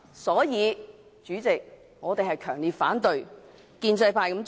所以，主席，我們強烈反對建制派這樣做。